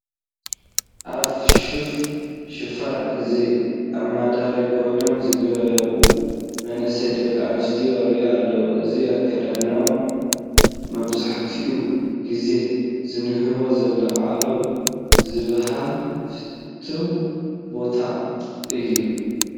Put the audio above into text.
ኣብ ፊሽፋ ሽፋን፡፡ እዚ ኣማዳራ ኮይኖም ዝገዋ መናእሰይ ደቂ ኣንስትዮ ይርአ ኣለዋ፡፡ እዚ ኣከዳድና መብዛሕቱኡ ግዜ ዝንህቦ ዘለዓለም ዝበሃል ፍትው ቦታ እዩ፡፡